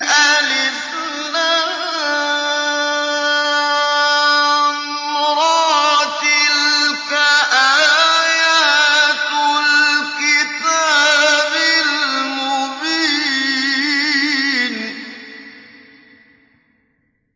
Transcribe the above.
الر ۚ تِلْكَ آيَاتُ الْكِتَابِ الْمُبِينِ